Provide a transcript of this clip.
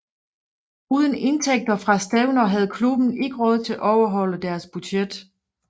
Uden indtægter fra stævner havde klubben ikke råd til at overholde deres budget